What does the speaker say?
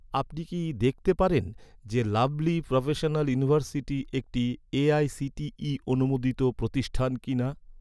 আপনি কি দেখতে পারেন যে, লাভলী প্রোফেশনাল ইউনিভার্সিটি একটি এ.আই.সি.টি.ই অনুমোদিত প্রতিষ্ঠান কিনা?